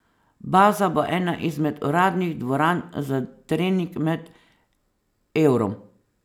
Baza bo ena izmed uradnih dvoran za trening med Eurom.